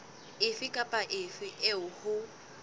efe kapa efe eo ho